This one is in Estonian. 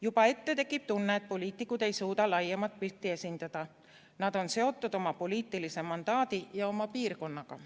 Juba ette tekib tunne, et poliitikud ei suuda laiemat pilti esindada, et nad on seotud oma poliitilise maailmavaate ja oma piirkonnaga.